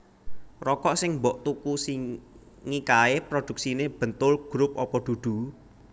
Rokok sing mbok tuku singi kae produksine Bentoel Group opo dudu?